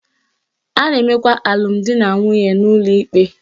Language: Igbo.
A na-emekwa alụmdinanwunye n'ụlọ ikpe